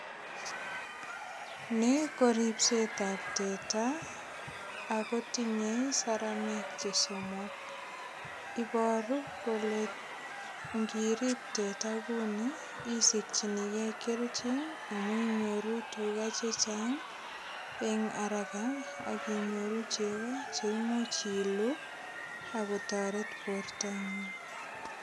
Ni koripsetabteta ago tinye saramek che somok. Iboru kole ingirip teta kuni isikyinike keljin amu inyoru tuga che chang eng araka ak inyoru chego che imuch iluu ak kotoret bortangung.